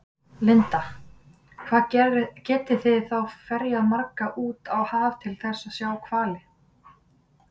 Linda: Hvað geti þið þá ferjað marga út á haf til þess að sjá hvali?